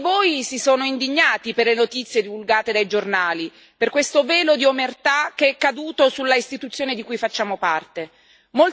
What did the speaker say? Molti di voi si sono indignati per le notizie divulgate dai giornali, per questo velo di omertà che è caduto sull'istituzione di cui facciamo parte.